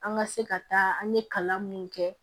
An ka se ka taa an ye kalan mun kɛ